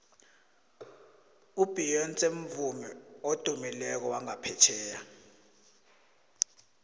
ubeyonce mvumi odumileko wangaphetjheya